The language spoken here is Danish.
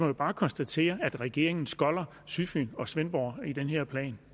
vi bare konstatere at regeringen skolder sydfyn og svendborg i den her plan